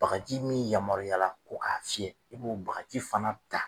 Bagaji min yamaruyala ko k'a fiyɛ, i b'o bakaji fana ta